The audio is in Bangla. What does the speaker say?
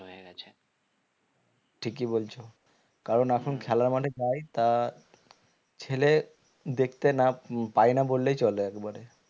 ঠিকই বলছ কারণ এখন খেলা মানে পাই না ছেলে দেখতে না উম পাই না বললেই চলে একবারে